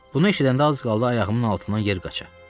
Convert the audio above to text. Bunu eşidəndə az qaldı ayağımın altından yer qaça.